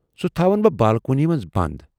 سُہ تھاوَن بہٕ بالکونی منز بند۔